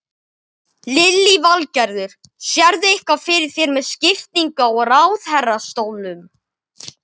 Lillý Valgerður: Sérðu eitthvað fyrir þér með skiptingu á ráðherrastólum?